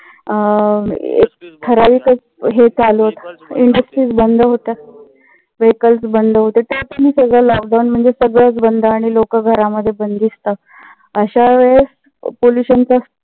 ठराविकच हे चालू होत. industries बंद होत्या. vehicles बंद होत्या. त्यात आणि सगळ lockdown म्हणजे सगळच बंद आणि लोकं घरामध्ये बंधिस्त. अशावेळेस polution